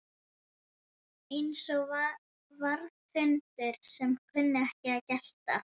Eins og varðhundar sem kunna ekki að gelta